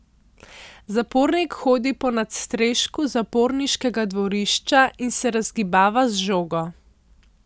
Zapornik hodi po nadstrešku zaporniškega dvorišča in se razgibava z žogo.